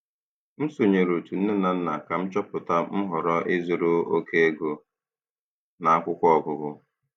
M sonyeere otu nne na nna ka m chọpụta nhọrọ ịzụrụ oke ego na akwụkwọ ọgụgụ.